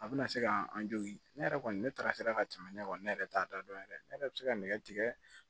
A bɛna se ka an jogin ne yɛrɛ kɔni ne taara sera ka tɛmɛ ne kɔ ne yɛrɛ t'a da dɔn yɛrɛ ne yɛrɛ bɛ se ka nɛgɛ tigɛ